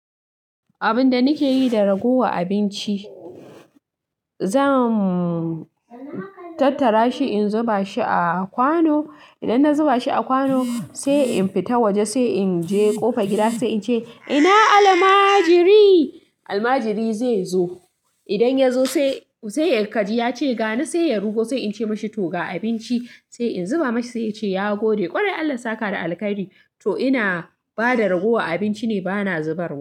Abinda nake yi da raguwar abinci, zan tattara shi in zuba shi a kwano. Idan na zuba shi a kwano sai in fita waje, sai in je ƙofa gida, sai in ce "ina almajiri?". Almajiri zai zo. Idan ya zo sai ya kaji ya ce "gani", sai ya rugo sai in ce mashi "toga abinci", sai in zuba mashi sai ya ce "ya gode". Kwarai Allah sa ka da alheri to ina bada raguwar abinci ne bana zubarwa.